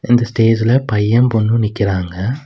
இந்த ஸ்டேஜல பையன் பொண்ணும் நிக்குறாங்க.